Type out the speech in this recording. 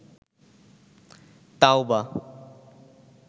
তাওবা